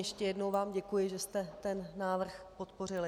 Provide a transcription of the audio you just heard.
Ještě jednou vám děkuji, že jste ten návrh podpořili.